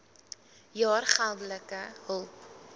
jaar geldelike hulp